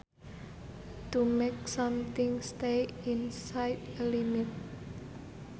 To make something stay inside a limit